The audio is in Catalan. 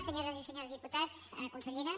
senyores i senyors diputats consellera